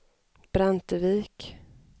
Brantevik